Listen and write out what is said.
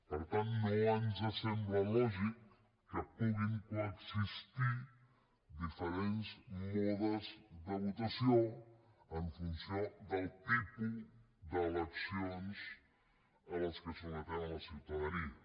per tant no ens sembla lògic que puguin coexistir diferents modes de votació en funció del tipus d’eleccions a què sotmetem la ciutadania